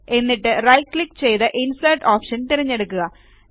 എന്നിട്ട് right click ചെയ്ത് insert option തിരഞ്ഞെടുക്കുക